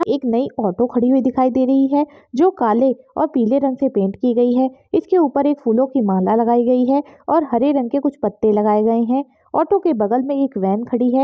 एक नई ऑटो खड़ी हुई दिखाई दे रही है जो काले और पीले रंग से पेंट की गयी है इसके ऊपर एक फूलों की माला लगाई गयी है और हरे रंग के कुछ पत्ते लगाए गए है ऑटो के बगल मे एक वॅन खड़ी है।